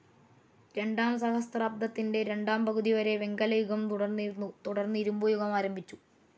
രണ്ടാം സഹസ്രാബ്ദത്തിന്റെ രണ്ടാം പകുതിവരെ വെങ്കലയുഗം തുടർന്നിരുന്നു തുടർന്ന് ഇരുമ്പുയുഗം ആരംഭിച്ചു.